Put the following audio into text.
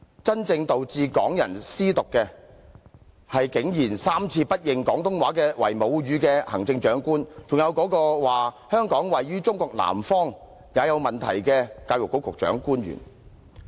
真正導致港人"思獨"的，是竟然3次不認廣東話為母語的行政長官，還有那個竟然說"香港位於中國南方"也有問題的教育局官員。